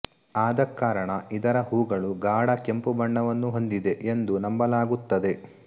ಆದ ಕಾರಣ ಇದರ ಹೂಗಳು ಗಾಢ ಕೆಂಪು ಬಣ್ಣವನ್ನು ಹೊಂದಿದೆ ಎಂದು ನಂಬಲಾಗುತ್ತದೆ